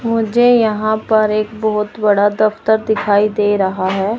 मुझे यहां पर एक बहोत बड़ा दफ्तर दिखाई दे रहा है।